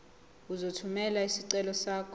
uzothumela isicelo sakho